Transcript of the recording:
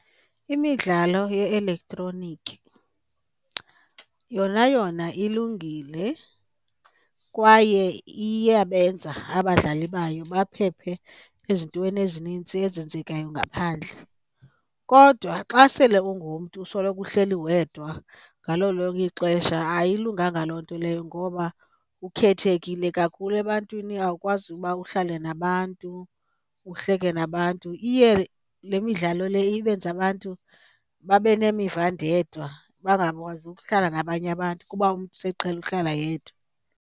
Imidlalo ye-elektroniki yona yona ilungile kwaye iyabenza abadlali bayo baphephe ezintweni ezininzi ezenzekayo ngaphandle, kodwa xa sele ungumntu usoloko uhleli wedwa ngalo lonke ixesha ayilunganga loo nto leyo ngoba ukhethekile kakhulu ebantwini awukwazi uba uhlale nabantu, uhleke nabantu. Iye le midlalo le ibenze abantu babe nemiva ndedwa bangakwazi ukuhlala nabanye abantu kuba umntu seqhele ukuhlala yedwa.